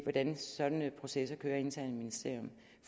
hvordan sådanne processer kører internt i et ministerium